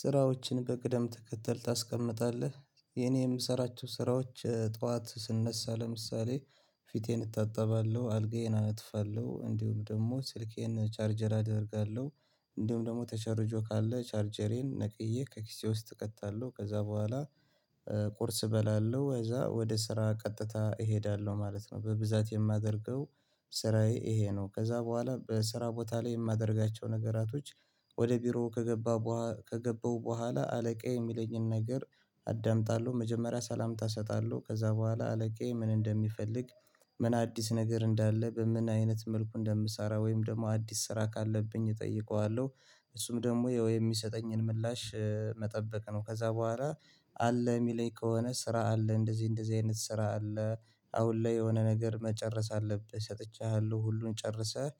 "ስራዎችህን በቅደም ተከተል ታስቀምጣለህ?" የኔ የምሰራቸው ስራዎች ጠዋት ስነሳ ለምሳሌ ፊቴን እታጠባለሁ፣ አልጋዬን አነጥፋለሁ እንዲሁም ደግሞ ስልኬን ቻርጀር አደርጋለሁ፣ እንዲሁም ደግሞ ተቸርጆ ካለ ቻርጀሬን ነቅዬ ከኪሴ ውስጥ እከታለሁ፤ ከዛ በኋላ ቁርስ እበላለሁ፣ ከዛ ወደ ስራ ቀጥታ እሄዳለሁ ማለት ነው። በብዛት የማደርገው ስራዬ ይሄ ነው ከዛ በኋላ በስራ ቦታ ላይ የማደርጋቸው ነገራቶች ወደ ቢሮ ከገባ ከገባው በኋላ አለቃዬ የሚለኝን ነገር አዳምጣለሁ መጀመሪያ ሰላምታ እሰጣለሁ ከዛ በኋላ አለቃዬ ምን እንደሚፈልግ ምን አዲስ ነገር እንዳለ በምን አይነት መልኩ እንደምሰራ ወይም ደግሞ አዲስ ስራ ካለብኝ እጠይቀዋለሁ። እሱም ደግሞ ያው የሚሰጠኝን ምላሽ መጠበቅ ነው ከዛ በኋላ አለ የሚለኝ ከሆነ ስራ አለ እንደዚህ እንደዚህ አይነት ስራ አለ አሁን ላይ የሆነ ነገር መጨረስ አለብህ ሰጥቻለሁ ሁሉን ጨርሰህ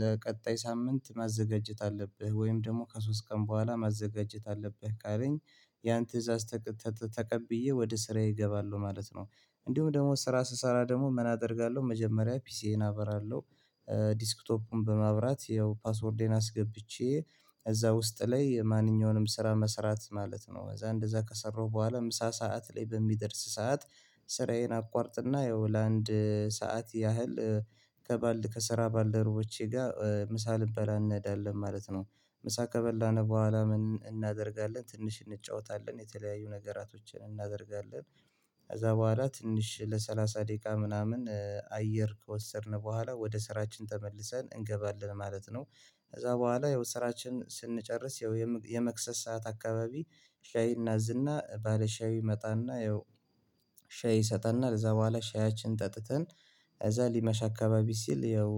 ለቀጣይ ሳምንት ማዘጋጀት አለብህ ወይም ደግሞ ከሶስት ቀን በኋላ ማዘጋጀት አለብህ ካለኝ ያን ትእዛዝ ተቀብዬ ወደ ስራዬ እገባለሁ ማለት ነው። እንዲሁም ደግሞ ስራ ስሰራ ደግሞ ምን አደርጋለሁ መጀመሪያ ፒሲዬን አበራለሁ፤ ዲስክቶፑን በማብራት ያው ፓስወርዴን አስገብቼ እዛ ውስጥ ላይ ማንኛውንም ስራ መስራት ማለት ነው። ከዛ እንደዛ ከሰራሁ በኋላ ምሳ ሰዓት ላይ በሚደርስ ሰዓት ስራዬን አቋርጥና ያው ለአንድ ሰዓት ያህል ከባልድ ከስራ ባልደርቦቼ ጋር ምሳ ልንበላ እንሄዳለን ማለት ነው። ምሳ ከበላን በኋላ ምን እናደርጋለን ትንሽ እንጫወታለን የተለያዩ ነገራቶችን እናደርጋለን። ከዛ በኋላ ትንሽ ለሰላሳ ደቂቃ ምናምን አየር ከወሰድን በኋላ ወደ ስራችን ተመልሰን እንገባለን ማለት ነው። ከዛ በኋላ ያው ስራችንን ስንጨርስ ያው የምግ የመክሰስ ሰዓት አካባቢ ሻይና ዝና ባለሻዩ ይመጣና ያው ሻይ ይሰጠናል። ከዛ በኋላ ሻያችንን ጠጥተን ከዛ ሊመሽ አካባቢ ሲል ያው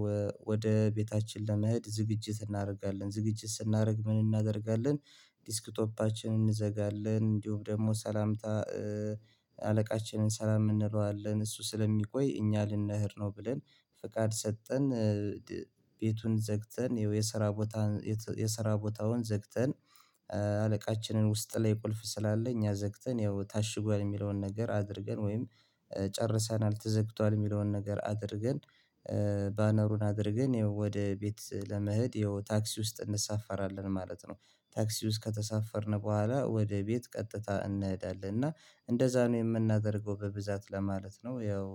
ወደ ቤታችን ለመሄድ ዝግጅት እናደርጋለን። ዝግጅት ስናደርግ ምን እናደርጋለን ዲስክቶፓችንን እንዘጋለን እንዲሁም ደግሞ ሰላምታ አለቃችንን ሰላም እንለዋለን እሱ ስለሚቆይ እኛ ልንሄድ ነው ብለን ፍቃድ ሰጠን ቤቱን ዘግተን ያው የስራ ቦታ የስራ ቦታውን ዘግተን አለቃችንን ውስጥ ላይ ቁልፍ ስላለ እኛ ዘግተን ያው ታሽጓል የሚለውን ነገር አድርገን ወይም ጨርሰናል ተዘግቷል የሚለውን ነገር አድርገን ባነሩን አድርገን ያው ወደ ቤት ለመሄድ ያው ታክሲ ውስጥ እንሳፈራለን ማለት ነው። ታክሲ ውስጥ ከተሳፈርን በኋላ ወደ ቤት ቀጥታ እንሄዳለን፤ እና እንደዛ ነው የምናደርገው በብዛት ለማለት ነው። ያው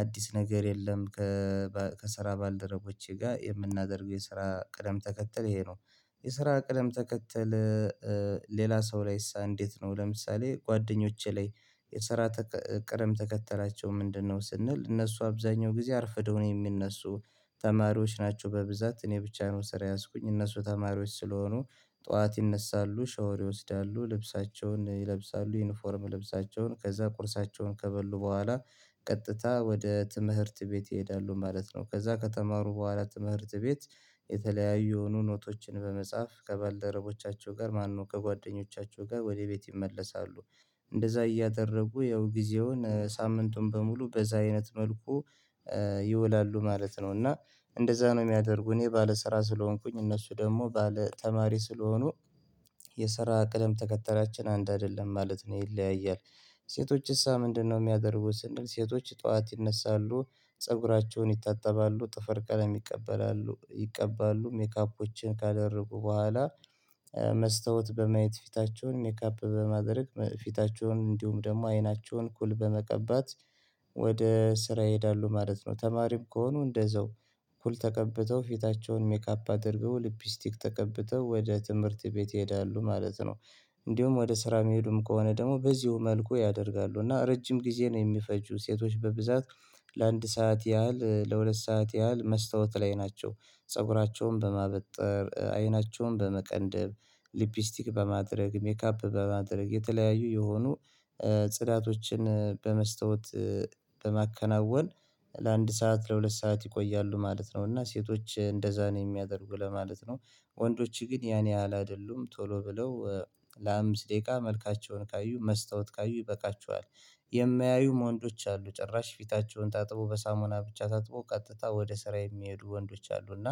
አዲስ ነገር የለም ከባ ከስራ ባልደረቦቼ ጋር የምናደርገው የስራ ቅደም ተከተል ይሄ ነው። የስራ ቅደም ተከተል ሌላ ሰው ላይሳ እንዴት ነው ለምሳሌ ጓደኞቼ ላይ "የስራ ቅደም ተከተላቸው ምንድነው?" ስንል፤ እነሱ አብዛኛው ጊዜ አርፍደው ነው የሚነሱ። ተማሪዎች ናቸው በብዛት እኔ ብቻ ነው ስራ የያዝኩኝ እነሱ ተማሪዎች ስለሆኑ ጠዋት ይነሳሉ፣ ሻወር ይወስዳሉ፣ ልብሳቸውን ይለብሳሉ ዩኒፎርም ልብሳቸውን፣ ከዛ ቁርሳቸውን ከበሉ በኋላ ቀጥታ ወደ ትምህርት ቤት ይሄዳሉ ማለት ነው፤ ከዛ ከተማሩ በኋላ ትምህርት ቤት የተለያዩ የሆኑ ኖቶችን በመጻፍ ከባልደረቦቻቸው ጋር ማነው ከጓደኞቻቸው ጋር ወደ ቤት ይመለሳሉ። እንደዛ እያደረጉ ያው ጊዜውን ሳምንቱን በሙሉ በዛ አይነት መልኩ ይወላሉ ማለት ነው፤ እና እንደዛ ነው የሚያደርጉ እኔ ባለስራ ስለሆንኩኝ እነሱ ደግሞ ባለተማሪ ስለሆኑ የስራ ቅደም ተከተላችን አንድ አይደለም ማለት ነው፤ ይለያያል። "ሴቶችሳ ምንድነው የሚያደርጉት?" ስንል ሴቶች ጠዋት ይነሳሉ፣ ፀጉራቸውን ይታጠባሉ፣ ጥፈር ቀለም ይቀበላሉ ይቀባሉ፣ ሜካፖችን ካደረጉ በኋላ መስታወት በማየት ፊታቸውን ሜካፕ በማድረግ ፊታቸውን እንዲሁም ደግሞ አይናቸውን ኩል በመቀባት ወደ ስራ ይሄዳሉ ማለት ነው። ተማሪም ከሆኑ እንደዛው ኩል ተቀብተው ፊታቸውን ሜካፕ አድርገው ሊፕስቲክ ተቀብተው ወደ ትምህርት ቤት ይሄዳሉ ማለት ነው። እንዲሁም ወደ ስራ የሚሄዱም ከሆነ ደግሞ በዚሁ መልኩ ያደርጋሉ፤ እና ረጅም ጊዜ ነው የሚፈጁ ሴቶች በብዛት ለአንድ ሰዓት ያህል ለሁለት ሰዓት ያህል መስታወት ላይ ናቸው። ፀጉራቸውን በማበጠር፣ አይናቸውን በመቀንደብ፣ ሊፕስቲክ በማድረግ፣ ሜካፕ በማድረግ፣ የተለያዩ የሆኑ ጽዳቶችን በመስታወት በማከናወን ለአንድ ሰዓት ለሁለት ሰዓት ይቆያሉ ማለት ነው፤ እና ሴቶች እንደዛ ነው የሚያደርጉ ለማለት ነው። ወንዶች ግን ያን ያህል አይደሉም ቶሎ ብለው ለአምስት ደቂቃ መልካቸውን ካዩ መስታወት ካዩ ይበቃቸዋል። የማያዩም ወንዶች አሉ ጭራሽ ፊታቸውን ታጥበው በሳሙና ብቻ ታጥበው ቀጥታ ወደ ስራ የሚሄዱ ወንዶች አሉ፤ እና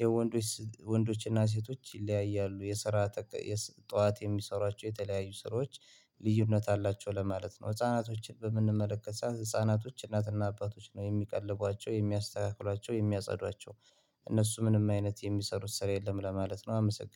የወንዶች ወንዶችና ሴቶች ይለያያሉ የስራ ተቀ የስ ጠዋት የሚሰሯቸው የተለያዩ ስራዎች ልዩነት አላቸው ለማለት ነው። ህፃናቶችን በምንመለከት ሰዓት ህፃናቶች እናትና አባቶች ነው የሚቀልቧቸው፣ የሚያስተካክሏቸው፣ የሚያጸዷቸው እነሱ ምንም አይነት የሚሰሩት ስራ የለም ለማለት ነው አመሰግ